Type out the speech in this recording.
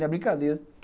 Não é brincadeira.